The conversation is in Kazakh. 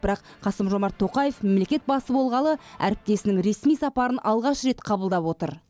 бірақ қасым жомарт тоқаев мемлекет басы болғалы әріптесінің ресми сапарын алғаш рет қабылдап отыр